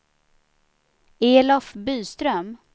Elof Byström